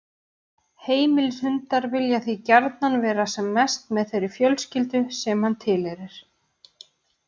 Heimilishundar vilja því gjarnan vera sem mest með þeirri fjölskyldu sem hann tilheyrir.